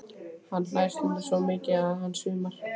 Hann hlær stundum svo mikið að hann svimar.